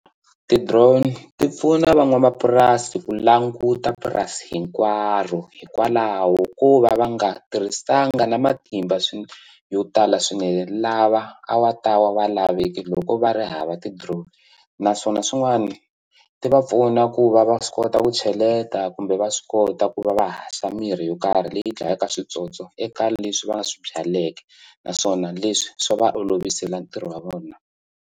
Ti-drone ti pfuna van'wamapurasi ku languta purasi hinkwaro hikwalaho ko va va nga tirhisanga na matimba yo tala swinene lava a wa ta wa va laveke loko va ri hava ti-drone naswona swin'wani ti va pfuna ku va va swi kota ku cheleta kumbe va swi kota ku va va haxa mirhi yo karhi leyi dlayaka switsotso eka leswi va swi byaleke naswona leswi swa va olovisela ntirho wa vona.